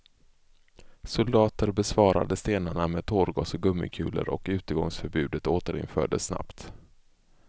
Soldater besvarade stenarna med tårgas och gummikulor och utegångsförbundet återinfördes snabbt.